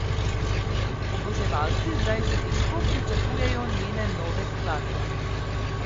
Oboževalci zdaj že težko pričakujejo njene nove skladbe.